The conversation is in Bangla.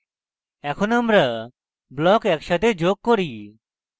এখন আমরা blocks একসাথে যোগ করি